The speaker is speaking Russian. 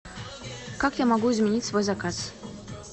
как я могу изменить свой заказ